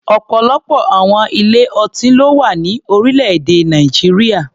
Ọ̀pọ̀lọpọ̀ àwọn ilé-ọtí ló wà ní orílẹ̀-èdè Nàìjíríà.